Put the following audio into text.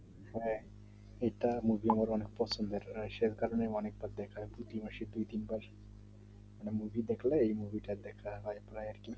হ্যাঁ সে কারণে অনেকবার দেখার movie দেখে এই movie দেখা হয় প্রায় আর কি